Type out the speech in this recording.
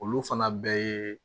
Olu fana bɛɛ ye